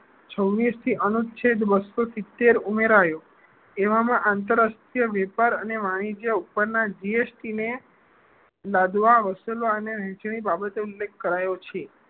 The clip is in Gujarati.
છવીસ થી અનુચ્છેદ બસો સિત્તેર ઉમેરાયો એવા નો આંતરરાષ્ટ્રીય વેપાર અને વાણીજ્ય ઉપર ના GST ને લાદવા અને હાસિલ વહેચણી ના સંદર્ભે કરાયો છે